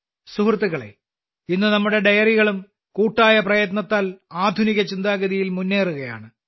സുഹൃത്തുക്കളേ ഇന്ന് നമ്മുടെ ഡെയറികളും കൂട്ടായ പ്രയത്നത്താൽ ആധുനികചിന്താഗതിയിൽ മുന്നേറുകയാണ്